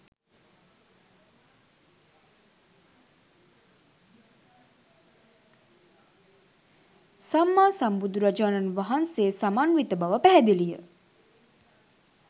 සම්මාසම්බුදු රජාණන් වහන්සේ සමන්විත බව පැහැදිලිය